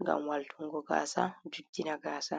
ngam waltungo gasa juddina gasa.